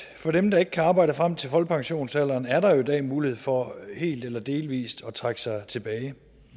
for dem der ikke kan arbejde frem til folkepensionsalderen er der i dag mulighed for helt eller delvis at trække sig tilbage